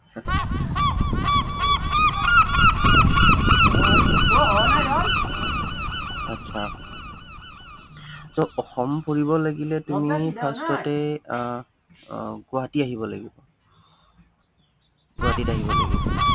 উম আচ্ছা so অসম ফুৰিবলে লাগিলে তুমি first তে আহ আহ গুৱাহাটী আহিব লাগিব। গুৱাহাটীত আহিব লাগিব।